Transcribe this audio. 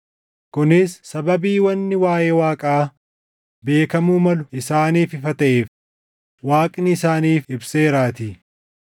kunis sababii wanni waaʼee Waaqaa beekamuu malu isaaniif ifa taʼeef; Waaqni isaaniif ibseeraatii.